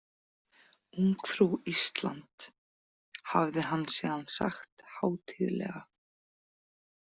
Ungfrú Ísland, hafði hann síðan sagt hátíðlega.